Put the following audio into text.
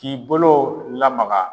K'i bolo lamaga